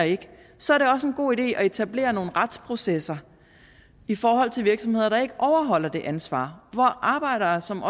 så er det også en god idé at etablere nogle retsprocesser i forhold til virksomheder der ikke overholder det ansvar hvor arbejdere som